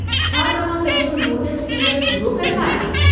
छा तव्हां पंहिंजो नोटिस पिरियड पूरो कयो आहे?